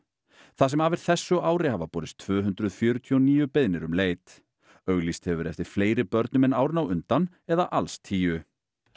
það sem af er þessu ári hafa borist tvö hundruð fjörutíu og níu beiðnir um leit auglýst hefur verið eftir fleiri börnum en árin á undan eða alls tíu